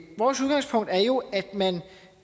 vores udgangspunkt er jo at man